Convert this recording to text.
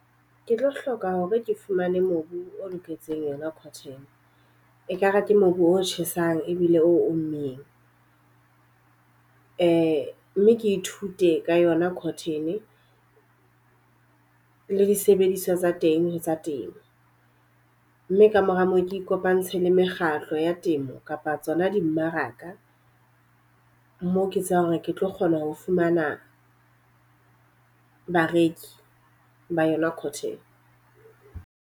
Ke tlo hloka hore ke fumane mobu o loketseng yona cotton. E kare ke mobu o tjhesang ebile o mmeng. Mme ke ithute ka yona cotton le disebediswa tsa teng ho tsa temo. Mme ka mora moo ke ikopantshe le mekgatlo ya temo kapa tsona di mmaraka mo ke tsebang hore ke tlo kgona ho fumana bareki ba yona cotton.